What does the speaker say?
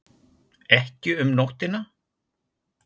Ekki um nóttina?